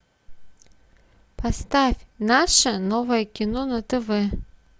поставь наше новое кино на тв